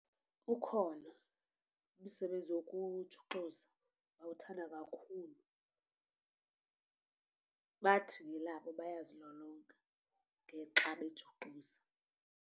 Ukhona umsebenzi wokujuxuza ndiwuthanda kakhulu. bathi ngelabo bayazilolonga xa bejuxuza.